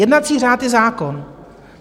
Jednací řád je zákon.